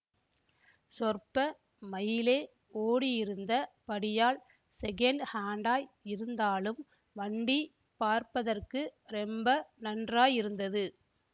சொற்ப மைலே ஓடியிருந்த படியால் ஸெகண்ட் ஹாண்டாய் இருந்தாலும் வண்டி பார்ப்பதற்கு ரொம்ப நன்றாயிருந்தது